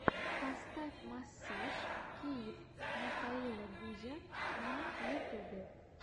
поставь массаж киев михаила гузя на ютьюбе